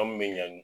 An kun bɛ ɲa